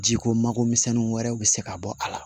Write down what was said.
Ji ko makomisɛnnin wɛrɛw bi se ka bɔ a la